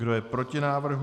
Kdo je proti návrhu?